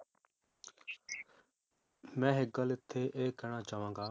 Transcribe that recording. ਮੈ ਇਕ ਗੱਲ ਇਥੇ ਇਹ ਕਹਿਣਾ ਚਾਵਾਂਗਾ